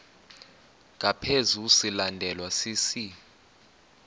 ngaphezu silandelwa sisi